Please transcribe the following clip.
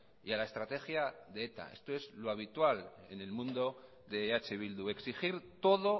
y a la estrategia de eta esto es lo habitual en el mundo de eh bildu exigir todo